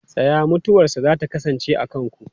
Tsaya! Mutuwarsa za ta kasance a kanku.